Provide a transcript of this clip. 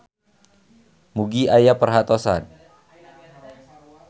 Mugi aya perhatosan.